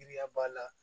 Giriya b'a la